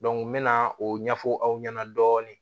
n mɛna o ɲɛfɔ aw ɲɛna dɔɔnin